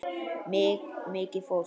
Mikið fólk.